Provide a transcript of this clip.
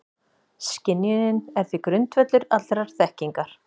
Skynjunin er því grundvöllur allrar þekkingar.